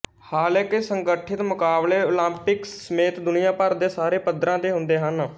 ਹਾਲਾਕਿ ਸੰਗਠਿਤ ਮੁਕਾਬਲੇ ਓਲੰਪਿਕਸ ਸਮੇਤ ਦੁਨੀਆ ਭਰ ਦੇ ਸਾਰੇ ਪੱਧਰਾਂ ਤੇ ਹੁੰਦੇ ਹਨ